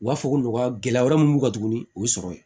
U b'a fɔ ko nɔgɔya gɛlɛya wɛrɛ mun b'u kan tuguni o y'o sɔrɔ ye